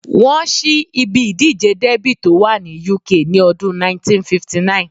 Wọ́n ṣí ibi ìdíje dẹ́bì tó wà ní UK ní ọdún 1959